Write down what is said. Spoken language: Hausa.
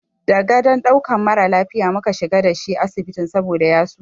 Da gadon ɗaukan mara lafiya mu ka shiga da shi asibiti saboda ya suma.